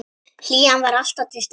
Hlýjan var alltaf til staðar.